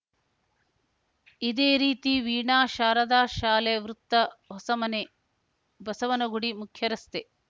ಇದೇ ರೀತಿ ವೀಣಾ ಶಾರದಾ ಶಾಲೆ ವೃತ್ತ ಹೊಸಮನೆ ಬಸವನಗುಡಿ ಮುಖ್ಯರಸ್ತೆ